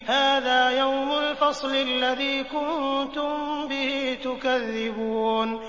هَٰذَا يَوْمُ الْفَصْلِ الَّذِي كُنتُم بِهِ تُكَذِّبُونَ